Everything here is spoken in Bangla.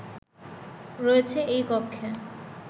রয়েছে এই কক্ষে